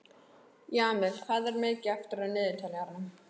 Jamil, hvað er mikið eftir af niðurteljaranum?